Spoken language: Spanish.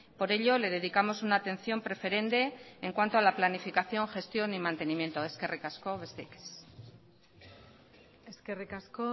por ello le dedicamos una atención preferente en cuanto a la planificación gestión y mantenimiento eskerrik asko besterik ez eskerrik asko